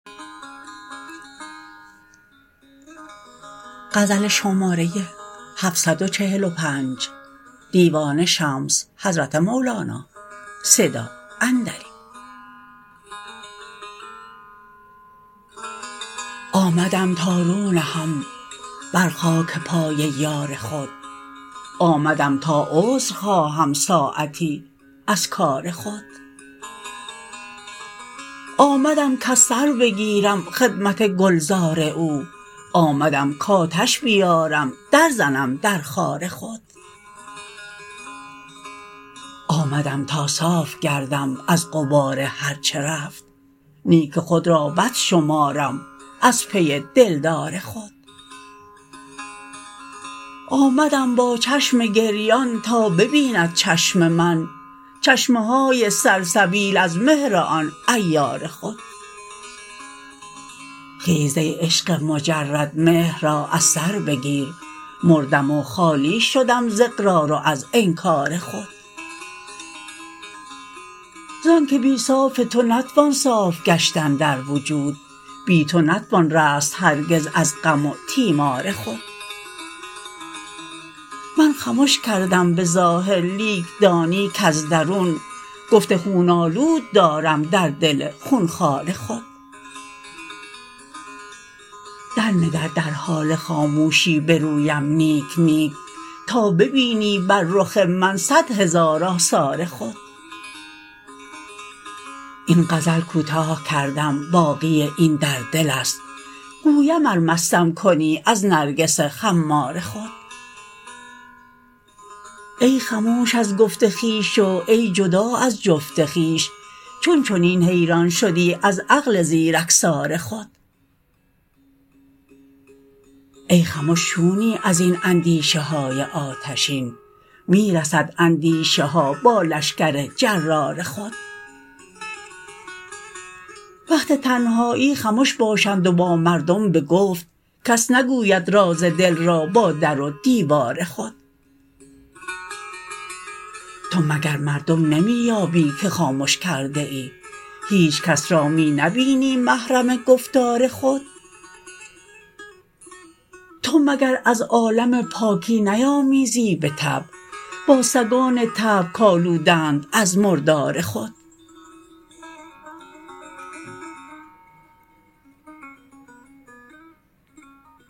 آمدم تا رو نهم بر خاک پای یار خود آمدم تا عذر خواهم ساعتی از کار خود آمدم کز سر بگیرم خدمت گلزار او آمدم کآتش بیارم درزنم در خار خود آمدم تا صاف گردم از غبار هر چه رفت نیک خود را بد شمارم از پی دلدار خود آمدم با چشم گریان تا ببیند چشم من چشمه های سلسبیل از مهر آن عیار خود خیز ای عشق مجرد مهر را از سر بگیر مردم و خالی شدم ز اقرار و از انکار خود زانک بی صاف تو نتوان صاف گشتن در وجود بی تو نتوان رست هرگز از غم و تیمار خود من خمش کردم به ظاهر لیک دانی کز درون گفت خون آلود دارم در دل خون خوار خود درنگر در حال خاموشی به رویم نیک نیک تا ببینی بر رخ من صد هزار آثار خود این غزل کوتاه کردم باقی این در دل است گویم ار مستم کنی از نرگس خمار خود ای خموش از گفت خویش و ای جدا از جفت خویش چون چنین حیران شدی از عقل زیرکسار خود ای خمش چونی از این اندیشه های آتشین می رسد اندیشه ها با لشکر جرار خود وقت تنهایی خمش باشند و با مردم به گفت کس نگوید راز دل را با در و دیوار خود تو مگر مردم نمی یابی که خامش کرده ای هیچ کس را می نبینی محرم گفتار خود تو مگر از عالم پاکی نیامیزی به طبع با سگان طبع کآلودند از مردار خود